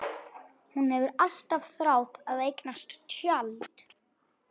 Hún hefur alltaf þráð að eignast tjald.